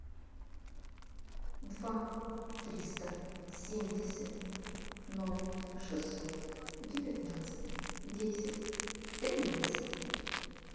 два триста семьдесят ноль шестьсот девятнадцать десять тринадцать